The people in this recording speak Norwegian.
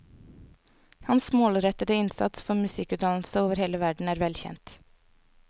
Hans målrettede innsats for musikkutdannelse over hele verden er velkjent.